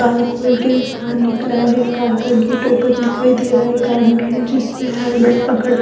car खोल के बाहर निकला है कार का गेट ओपन दिखाई दे रहा है एक आदमी जिसने हेलमेट पकड़--